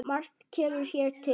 Margt kemur hér til.